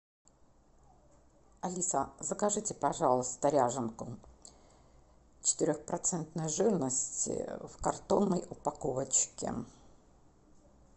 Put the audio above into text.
алиса закажите пожалуйста ряженку четырех процентной жирности в картонной упаковочке